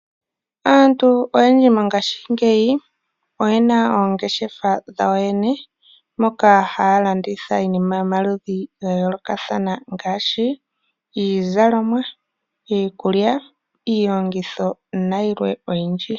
Aantu oyedji mongashingeyi oye na oongeshefa dhawo yene moka haya landitha iinima yomaludhi ga yoolokathana ngaashi iizalomwa, iikulya, iilongitho nayilwe oyindji.